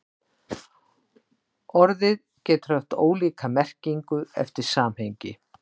Orðið getur haft ólíka merkingu eftir samhengi.